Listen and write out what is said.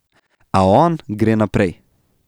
A on gre naprej.